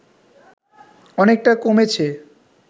অনেকটা কমেছে